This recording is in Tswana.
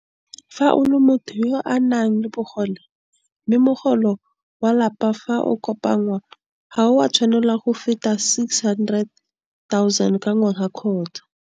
O le motho yo a nang le bogole, mme mogolo wa lapa fa o kopanngwa ga o a tshwanela go feta R600 000 ka ngwaga kgotsa.